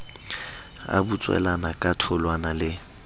a butswelana ka tholwana le